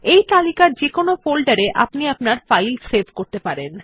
এই তালিকার যেকোনো ফোল্ডার এ আপনি আপনার ফাইল সেভ করতে পারেন